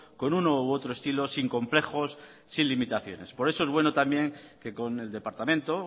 con uno u otro estilo sin complejos sin limitaciones por eso es bueno también que con el departamento